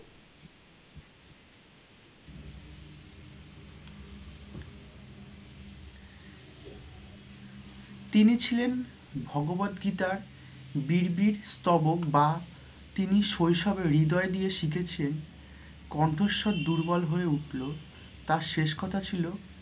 তিনি ছিলেন ভগবদ গীতার বীর বীর স্তবক বা তিনি শৈশবে ঋদয় দিয়ে শিখেছে কণ্ঠস্বর দুর্বল হয়ে উঠলেও তাঁর শেষ কথা ছিল